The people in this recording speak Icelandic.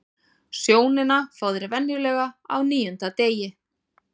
Sjónina fá þeir venjulega á níunda degi.